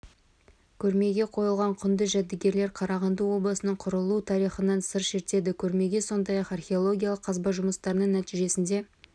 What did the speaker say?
көрмеге қойылған құнды жәдігерлер қарағанды облысының құрылу тарихынан сыр шертеді көрмеге сондай-ақ археологиялық қазба жұмыстарының нәтижесінде